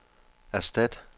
erstat